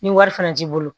Ni wari fana t'i bolo